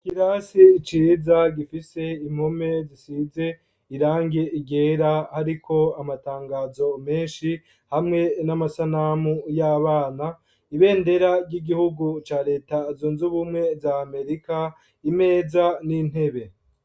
Ikirasi ciza gifise impome zisize irangi ryera, hariko amatangazo menshi hamwe n'amasanamu y'abana, ibendera ry'igihugu ca leta zunze ubumwe za amerika, imeza n'intebe.